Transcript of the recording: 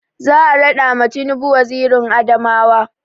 Za a raɗa ma tinubu wazirin Adamawa